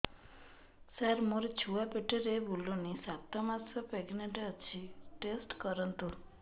ସାର ମୋର ଛୁଆ ପେଟରେ ବୁଲୁନି ସାତ ମାସ ପ୍ରେଗନାଂଟ ଅଛି ଟେଷ୍ଟ କରନ୍ତୁ